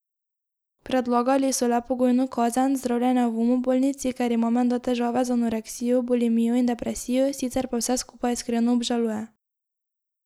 Predlagali so le pogojno kazen, zdravljenje v umobolnici, ker ima menda težave z anoreksijo, bulimijo in depresijo, sicer pa vse skupaj iskreno obžaluje.